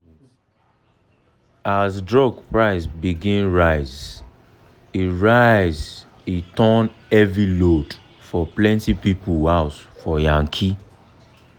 as drug price begin rise e rise e turn heavy load for plenty people house for yankee